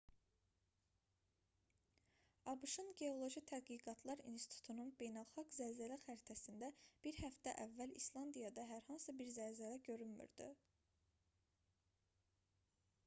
abş-ın geoloji tədqiqatlar i̇nstitutunun beynəlxalq zəlzələ xəritəsində bir həftə əvvəl i̇slandiyada hər hansı bir zəlzələ görünmürdü